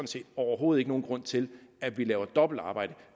set overhovedet ikke nogen grund til at vi laver dobbeltarbejde